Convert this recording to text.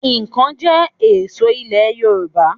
Ikàn jẹ́ ṣe èso ilẹ̀ Yorùbá